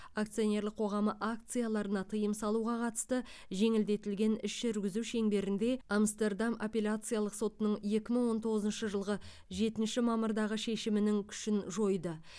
акционерлік қоғамы акцияларына тыйым салуға қатысты жеңілдетілген іс жүргізу шеңберінде амстердам апелляциялық сотының екі мың он тоғызыншы жылғы жетінші мамырдағы шешімінің күшін жойды